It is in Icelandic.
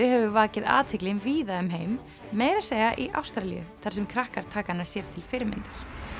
hefur vakið athygli víða um heim meira að segja í Ástralíu þar sem krakkar taka hana sér til fyrirmyndar